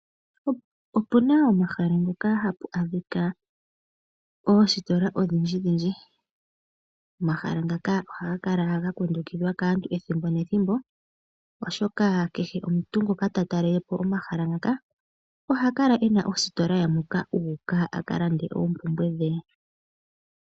Opuna omahala ngoka hapu adhika oositola odhindji dhindji . Omahala ngaka ohaga kala ga kundukidhwa kaantu oyendji ethimbo nethimbo oshoka kehe omuntu ngoka ta talelepo omahala ngoka oha kala ena ositol ye moka u uka akalande uumpumbwe dhe.